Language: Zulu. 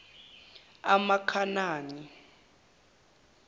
amakhanani